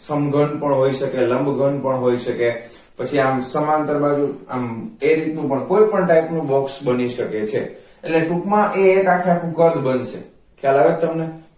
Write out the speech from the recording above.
સમઘન પણ હોઈ શકે લંબ ઘન પણ હોઈ શકે પછી આમ સમાંતર બાજુ આમ આમ એ રીત નું પણ હોઈ કોઈ પણ type નું box બની શકે છે એટલે ટૂંક માં એ આખેઆખુ કદ બનશે ખ્યાલ આવે છે તમને